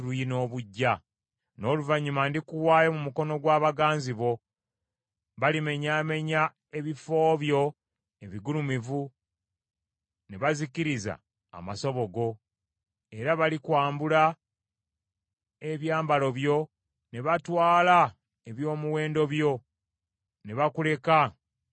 N’oluvannyuma ndikuwaayo mu mukono gw’abaganzi bo; balimenyaamenya ebifo byo ebigulumivu, ne bazikiriza amasabo go. Era balikwambula ebyambalo byo, ne batwala eby’omuwendo byo, ne bakuleka ng’oli bukunya.